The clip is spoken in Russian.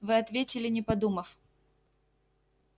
вы ответили не подумав